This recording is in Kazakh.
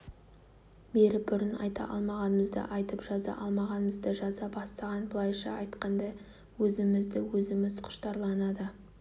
беріп бұрын айта алмағанымызды айтып жаза алмағанымызды жаза бастаған былайша айтқанда өзімізді өзіміз құштарлана да